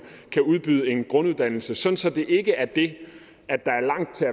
kan udbyde en grunduddannelse så det ikke er det at der er langt til